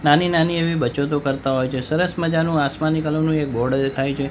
નાની નાની એવી બચતો કરતા હોય છે સરસ મજાનો આસમાની કલર નું એક બોર્ડ દેખાય છે.